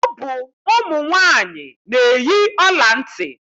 Ọ bụ ụmụ nwaanyị na-eyi ọla ntị.